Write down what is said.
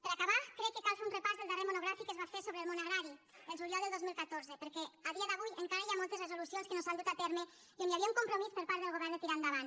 per acabar crec que cal fer un repàs del darrer monogràfic que es va fer sobre el món agrari el juliol de dos mil catorze perquè a dia d’avui encara hi ha moltes resolucions que no s’han dut a terme i on hi havia un compromís per part del govern de tirar endavant